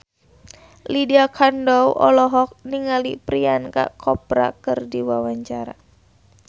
Lydia Kandou olohok ningali Priyanka Chopra keur diwawancara